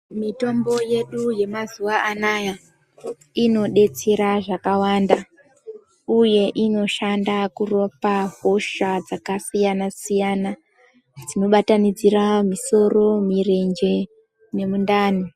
Mitombo yedu yemazuva anawa inodetsera zvakawanda uye inoshanda kurapa hosha dzakasiyana siyana dzinobatanidzira misoro mirenje nemundani.